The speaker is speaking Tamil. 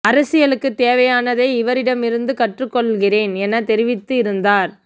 அரசியலுக்கு தேவையானதை இவரிடமிருந்து கற்றுக்கொள்கிறேன் என தெரிவித்து இருந்தார்